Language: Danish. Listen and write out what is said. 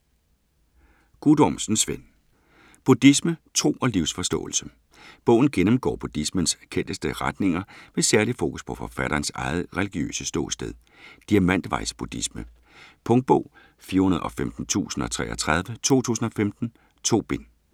Guttormsen, Svend: Buddhisme: tro og livsforståelse Bogen gennemgår buddhismens kendteste retninger med særlig fokus på forfatterens eget religiøse ståsted: diamantvejs-buddhisme. Punktbog 415033 2015. 2 bind.